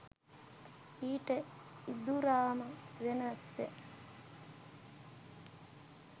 ඊට ඉඳුරාම වෙනස්ය